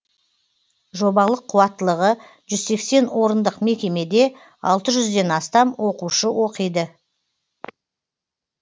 жобалық қуаттылығы жүз сексен орындық мекемеде алты жүзден астам оқушы оқиды